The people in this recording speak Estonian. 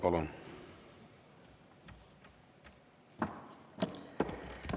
Palun!